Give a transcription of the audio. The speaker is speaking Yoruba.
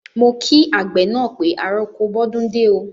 Mo kí àgbẹ̀ na pé àrọko bọdúndé o.